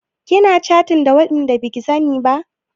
Kina catin da waɗanda baki sani ba?